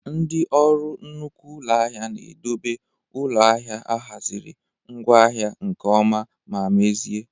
Ndị orụ nnukwu ụlọ ahịa na-edobe ụlọ ahịa ahiaziri ngwaahia nke ọma ma mezie